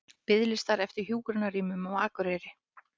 Biðlistar eftir hjúkrunarrýmum á Akureyri